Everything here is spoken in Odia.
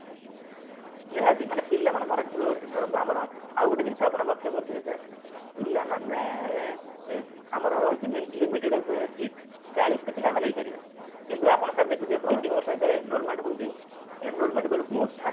ନିହାତି ପିଲାମାନଙ୍କର ଧରନ୍ତୁ ଆମର ଆଉ ଗୋଟେ ଜିନିଷ ଆପଣ ଲକ୍ଷ୍ୟ କରିଥିବେ sir ପିଲାମାନେ ଆମର ହଉଛି limited seat ଚାଳିଶି ଟି ପିଲା ଆମେ ନେଇପାରିବା କିନ୍ତୁ ଆପଣ sir ଦେଖିଥିବେ ପ୍ରତିବର୍ଷ ଯେତେବେଳେ evolvement ହଉଛି evolvement ବଳକୁ ଷାଠିଏ